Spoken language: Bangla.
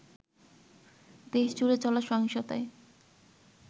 দেশজুড়ে চলা সহিংসতায়